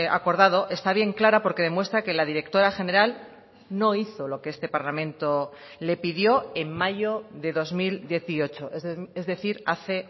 acordado está bien clara porque demuestra que la directora general no hizo lo que este parlamento le pidió en mayo de dos mil dieciocho es decir hace